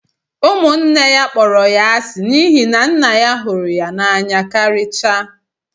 Ụmụnne ya kpọrọ ya asi n'ihi na nna ya hụrụ ya n'anya karịchaa